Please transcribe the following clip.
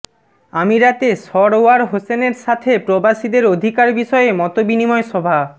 আমিরাতে সরওয়ার হোসেনের সাথে প্রবাসীদের অধিকার বিষয়ে মতবিনিময় সভা